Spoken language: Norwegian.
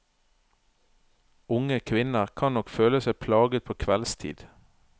Unge kvinner kan nok føle seg plaget på kveldstid.